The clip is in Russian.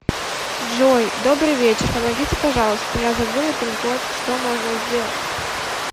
джой добрый вечер помогите пожалуйста я забыла пин код что можно сделать